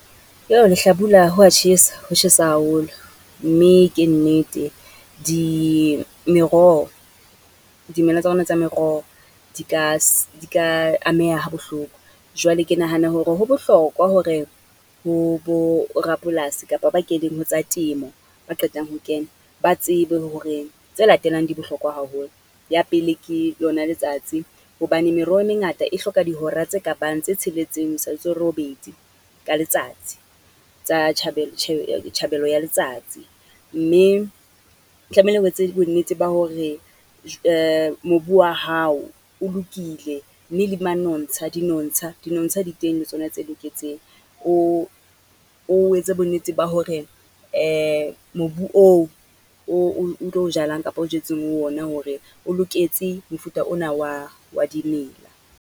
Lehlabula ho wa tjhesa, ho tjhesa haholo. Mme ke nnete di, meroho dimela tsa rona tsa meroho, di ka di ka ameha ha bohloko. Jwale ke nahana hore ho bohlokwa hore bo bo rapolasi kapa ba keneng ho tsa temo, ba qetang ho kena ba tsebe hore tse latelang di bohlokwa haholo. Ya pele, ke yona letsatsi hobane meroho e mengata e hloka dihora tse ka bang tse tsheletseng ho isa ho robedi ka letsatsi, tsa tjhabelo ya letsatsi. Mme tlamehile o etse bonnete ba hore mobu wa hao o lokile, mme le manontsha dinontsha, dinontsha di teng le tsona tse loketseng. O etse bonnete ba hore mobu oo, o tlo o jalang kapa o jetseng ho ona hore o loketse mofuta ona wa, wa dimela.